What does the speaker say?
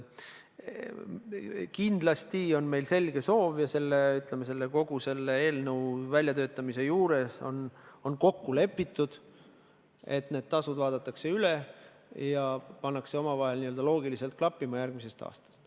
Kindlasti on meil selge soov ja see sai ka eelnõu väljatöötamisel kokku lepitud, et need tasud vaadatakse üle ja pannakse omavahel loogiliselt klappima järgmisel aastal.